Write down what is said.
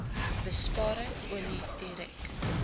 besparing olie direk